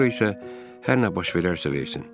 Sonra isə hər nə baş verərsə versin.